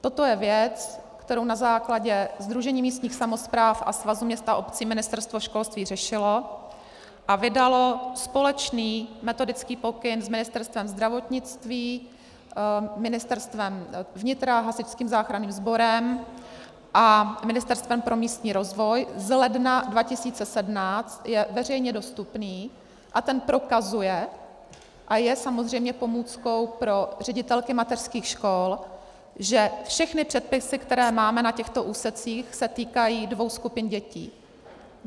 Toto je věc, kterou na základě sdružení místních samospráv a Svazu měst a obcí Ministerstvo školství řešilo a vydalo společný metodický pokyn s Ministerstvem zdravotnictví, Ministerstvem vnitra, Hasičským záchranným sborem a Ministerstvem pro místní rozvoj z ledna 2017, je veřejně dostupný, a ten prokazuje, a je samozřejmě pomůckou pro ředitelky mateřských škol, že všechny předpisy, které máme na těchto úsecích, se týkají dvou skupin dětí.